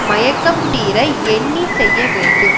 மயக்கம் தீர எண்ணி செய்ய வேண்டும்